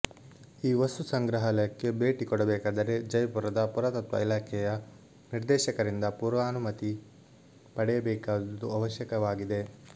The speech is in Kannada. ಈ ವಸ್ತು ಸಂಗ್ರಹಾಲಯಕ್ಕೆ ಭೇಟಿ ಕೊಡಬೇಕಾದರೆ ಜೈಪುರದ ಪುರಾತತ್ವ ಇಲಾಖೆಯ ನಿರ್ದೇಶಕರಿಂದ ಪೂರ್ವಾನುಮತಿ ಪಡೆಯಬೇಕಾದುದು ಅವಶ್ಯಕವಾಗಿದೆ